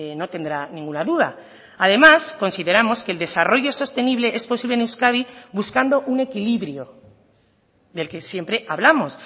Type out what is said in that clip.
no tendrá ninguna duda además consideramos que el desarrollo sostenible es posible en euskadi buscando un equilibrio del que siempre hablamos